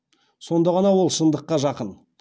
сонда ғана ол шындыққа жақын